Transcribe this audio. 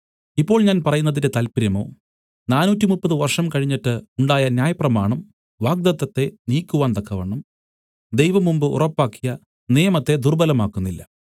ഇപ്പോൾ ഞാൻ പറയുന്നതിന്റെ താല്പര്യമോ നാനൂറ്റിമുപ്പത് വർഷം കഴിഞ്ഞിട്ട് ഉണ്ടായ ന്യായപ്രമാണം വാഗ്ദത്തത്തെ നീക്കുവാൻ തക്കവണ്ണം ദൈവം മുമ്പ് ഉറപ്പാക്കിയ നിയമത്തെ ദുർബ്ബലമാക്കുന്നില്ല